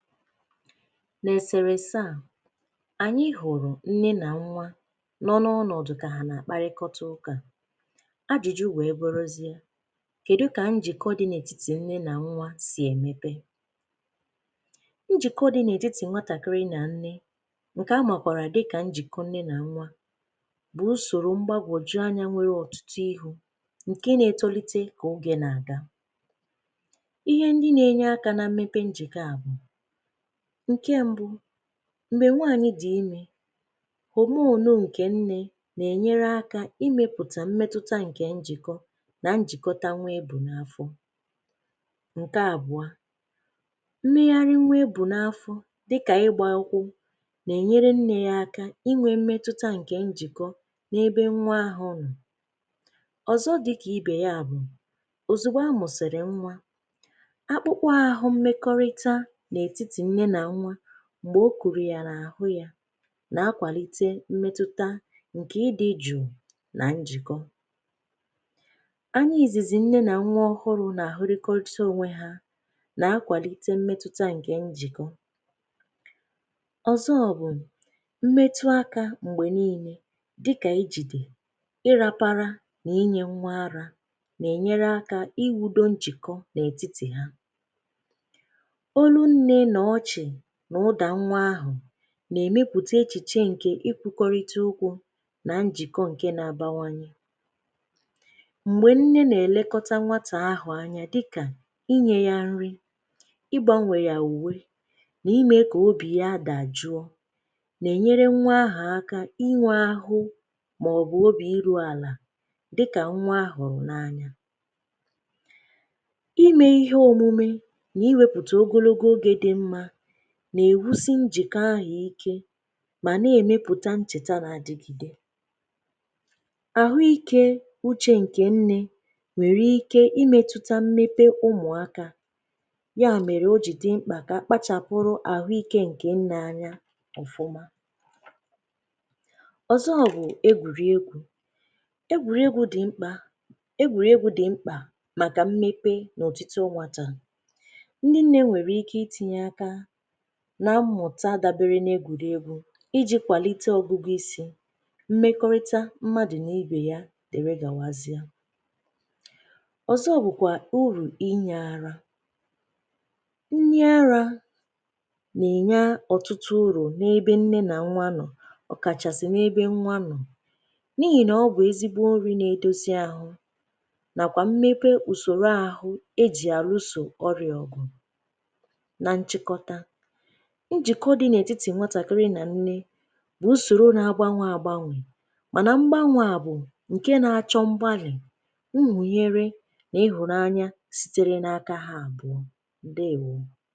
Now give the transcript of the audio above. N'eserese a, anyị hụrụ nne na nwa nọ n'ọnọdụ ka ha a na-akparịta ụka. Ajụjụ wee bụrụzie, kedu ka njikọ dị n'etiti nne na nwa si emebe? Njikọ dị n'etiti nwatakịrị na nne nke a makwara dika njikọ nne na nwa bụ usoro mgbagwoju anya nwere ọtụtụ ihu nke na-etolite ka oge na-aga. Ihe ndị na-enye aka na mmebe njikọ a bụ: nke mbụ mgbe nwaanyị di ime, homonụ nke nne na-enyere aka ịmepụta mmetụta nke njikọ na njikọta nwa e bu n'afọ, nke abụa mmegharị nwa e bu n'afọ dịka ịgba ụkwụ na-enyere nne ya aka inwe mmetụta nke njikọ n'ebe nwa ahụ nọ. Ọzọ dịka ibe ya bụ, ozigbo a mụsịrị nwa, akpụkpọ ahụ mmekọrịta n'etiti nne na nwa mgbe o kuru ya n'ahụ ya na-akwalite mmetụta nke ị dị jụụ na njikọ. Anya izizi nne na nwa ọhụrụ nagahụrịkọcha onwe ha na-akwalite mmetụta nke njikọ. Ọzọ bụ mmetụ aka mgbe niile dịka ijide, ịrapara na inye nwa ara nagenyere aka iwudo njikọ n'etiti ha. Ólú nne na ọchị na ụda nwa ahụ na-emepụta echiche nke ikwukọrịta okwu na njikọ nke na-abawanye. Mgbe nne na-elekọta nwata ahụ anya dị ka inye ya nri, ịgbanwe ya uwe na ime ka obi ya dajụọ na-enyere nwa ahụ aka inwe ahụ maọbụ obi iru ala dịka nwa a hụrụ n'anya. Ime ihe omume na, iwepụta ogologo oge dị mma na-ewusị njikọ ahụ ike ma na-emepụta ncheta na-adịgide. Ahụike uche nke nne nwere ike imetụta mmepe ụmụaka. Ya mere o ji dị mkpa ka a kpachapụrụ ahụike nke nne anya ọfụma. Ọzọ bụ egwuriegwu. Egwuriegwu dị mkpa egwuriegwu dị mkpa maka mmepe na otito nwata. Ndị nne nwere ike itinye aka na mmụta dabere n'egwuriegwu iji kwalite ọgụgụisi, mmekọrịta mmadụ na ibe ya dịrị gawazie. Ọzọ bụkwa uru inye ara. Nnye ara na-enye ọtụtụ uru n'ebe nne na nwa nọ ọ kachasị n'ebe nwa nọ n'ihi na ọ bụ ezigbo nri na-edozi ahụ nakwa mmepe usoro ahụ e ji aruso ọrịa ọgụ. Na nchịkọta, njikọ dị n'etiti nwatakịrị na nne bụ usoro na-agbanwe agbanwe mana mgbanwe a bụ nke na-achọ mgbalị̀, nhunyere na ịhụnanya sitere n'aka ha abụọ. Ndewo.